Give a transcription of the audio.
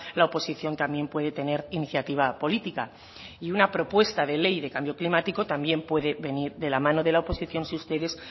la oposición también puede tener iniciativa política y una propuesta de ley de cambio climático también puede venir de la mano de la oposición si ustedes